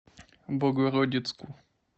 богородицку